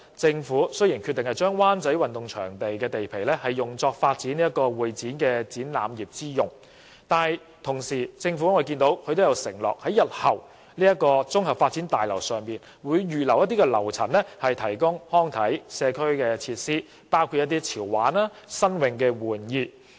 政府雖然決定把灣仔運動場地皮用作發展會議展覽業之用，但同時亦承諾在日後的綜合發展大樓上預留樓層提供康體及社區設施，包括一些潮玩和新穎的玩意。